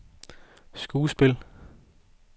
skuespil